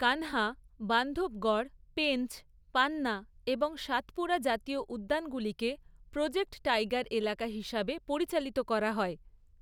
কানহা, বান্ধবগড়, পেঞ্চ, পান্না এবং সাতপুরা জাতীয় উদ্যানগুলিকে প্রজেক্ট টাইগার এলাকা হিসাবে পরিচালিত করা হয়।